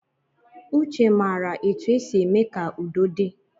Uche mara etu e si eme ka udo di